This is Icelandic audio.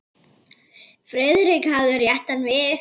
Friðrik hafði rétt hann við.